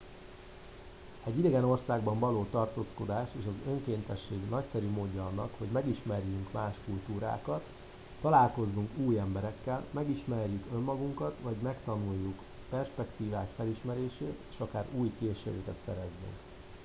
egy idegen országban való tartózkodás és az önkéntesség nagyszerű módja annak hogy megismerjünk más kultúrákat találkozunk új emberekkel megismerjük önmagukat hogy megtanuljuk perspektívák felismerését és akár új készségeket szerezzünk